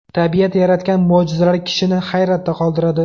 Tabiat yaratgan mo‘jizalar kishini hayratda qoldiradi.